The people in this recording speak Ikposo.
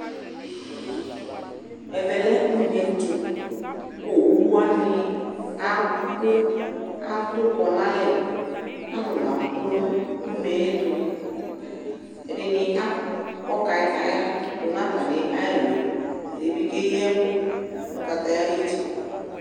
Ɛvɛ lɛ une ɛtʋ kʋ owʋ wani abʋ, atʋkɔ n'alɛ, alʋlʋ abʋ nʋ une yɛ tʋ Ɛdini akɔ kataya dʋ nʋ atami ɛlʋ yɛ Ɛdi bi keyi ɛkʋ nʋ kataya ayiti